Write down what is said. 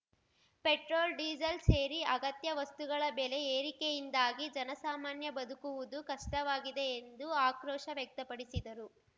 petrol diesel ಸೇರಿ ಅಗತ್ಯ ವಸ್ತುಗಳ ಬೆಲೆ ಏರಿಕೆಯಿಂದಾಗಿ ಜನಸಾಮಾನ್ಯ ಬದುಕುವುದು ಕಷ್ಟವಾಗಿದೆ ಎಂದು ಆಕ್ರೋಶ ವ್ಯಕ್ತಪಡಿಸಿದರು